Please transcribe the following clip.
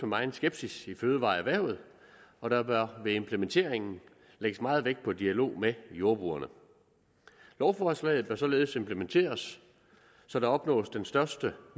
megen skepsis i fødevareerhvervet og der bør ved implementeringen lægges meget vægt på dialog med jordbrugerne lovforslaget bør således implementeres så der opnås den største